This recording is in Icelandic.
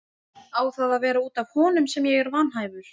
Á það að vera út af honum sem ég er vanhæfur?